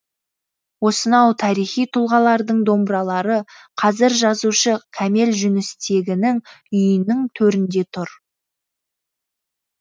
осынау тарихи тұлғалардың домбыралары қазір жазушы кәмел жүністегінің үйінің төрінде тұр